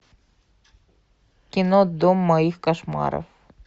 кино дом моих кошмаров